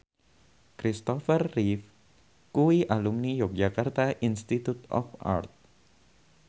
Christopher Reeve kuwi alumni Yogyakarta Institute of Art